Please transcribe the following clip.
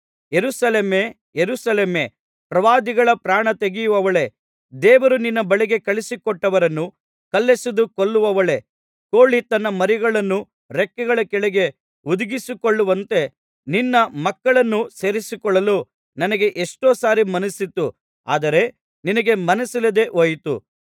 ಯೆರೂಸಲೇಮೇ ಯೆರೂಸಲೇಮೇ ಪ್ರವಾದಿಗಳ ಪ್ರಾಣತೆಗೆಯುವವಳೇ ದೇವರು ನಿನ್ನ ಬಳಿಗೆ ಕಳುಹಿಸಿಕೊಟ್ಟವರನ್ನು ಕಲ್ಲೆಸೆದು ಕೊಲ್ಲುವವಳೇ ಕೋಳಿ ತನ್ನ ಮರಿಗಳನ್ನು ರೆಕ್ಕೆಗಳ ಕೆಳಗೆ ಹುದುಗಿಸಿಕೊಳ್ಳುವಂತೆ ನಿನ್ನ ಮಕ್ಕಳನ್ನು ಸೇರಿಸಿಕೊಳ್ಳಲು ನನಗೆ ಎಷ್ಟೋ ಸಾರಿ ಮನಸ್ಸಿತ್ತು ಆದರೆ ನಿನಗೆ ಮನಸ್ಸಿಲ್ಲದೆ ಹೋಯಿತು